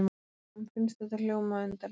Finnst þetta hljóma undarlega.